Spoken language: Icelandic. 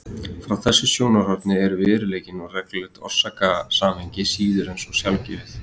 Frá þessu sjónarhorni er veruleikinn og reglulegt orsakasamhengi síður en svo sjálfgefið.